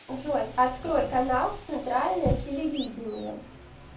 джой открой канал центральное телевидение